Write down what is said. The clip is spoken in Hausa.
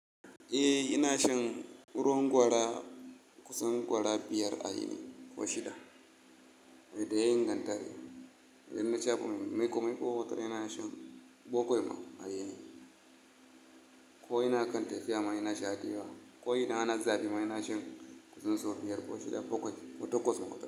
Eh ina shan ruwan gwara, kusan gwara biyar a yini ko shida. Eh ina shan ruwan gwara, kusan gwara biyar a yini ko shida. Ko ina akan tafiyama inasha dayawa, ko idan ana zafima inashan kusan so biyar ko shida bakwai ko takwas ma.